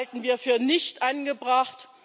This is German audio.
Das halten wir für nicht angebracht.